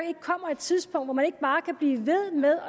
et tidspunkt hvor man ikke bare kan blive ved med